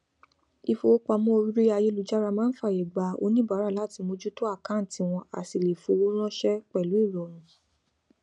ifowópamọ orí ayélujára máa ń fàyè gba onibaara láti mójútó àkáǹtì wọn á sì lè fọwó ránṣẹ pẹlú ìrọrùn